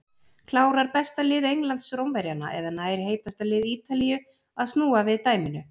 Klárar besta lið Englands Rómverjana eða nær heitasta lið Ítalíu að snúa við dæminu?